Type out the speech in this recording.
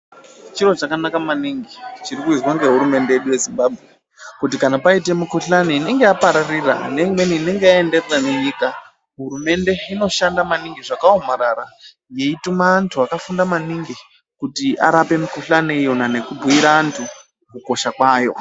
Chiro chakanaka maningi chiri kuizwa ngehurumende yedu yeZimbabwe kuti kana paite mikuhlani inenge yapararira neimweni inenge yaenderera nenyika, hurumende inoshanda maningi zvakaomarara yeituma antu akafunda maningi kuti arape mikuhlani iyona nekubhuyira antu kukosha kwayo.